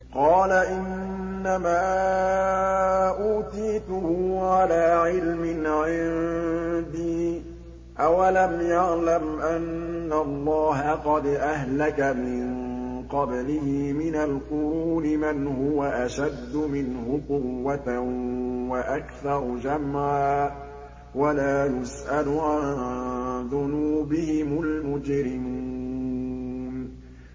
قَالَ إِنَّمَا أُوتِيتُهُ عَلَىٰ عِلْمٍ عِندِي ۚ أَوَلَمْ يَعْلَمْ أَنَّ اللَّهَ قَدْ أَهْلَكَ مِن قَبْلِهِ مِنَ الْقُرُونِ مَنْ هُوَ أَشَدُّ مِنْهُ قُوَّةً وَأَكْثَرُ جَمْعًا ۚ وَلَا يُسْأَلُ عَن ذُنُوبِهِمُ الْمُجْرِمُونَ